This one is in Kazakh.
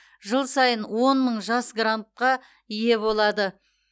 жыл сайын он мың жас грантқа ие болады